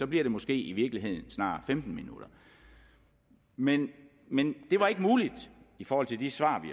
bliver det måske i virkeligheden snarere femten minutter men men det var ikke muligt i forhold til de svar vi